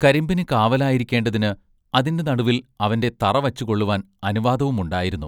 കരിമ്പിന് കാവലായിരിക്കേണ്ടതിന് അതിന്റെ നടുവിൽ അവന്റെ തറ വച്ചുകൊള്ളുവാൻ അനുവാദവുമുണ്ടായിരുന്നു.